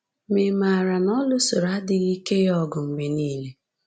Ma ị̀ maara na ọ lụsoro adịghị ike ya ọgụ mgbe nile?